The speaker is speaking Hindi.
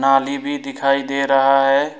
नाली भी दिखाई दे रहा है।